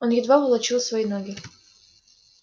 он едва волочил свои ноги